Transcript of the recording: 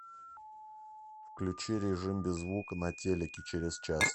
включи режим без звука на телике через час